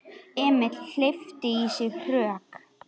Emil hleypti í sig hörku.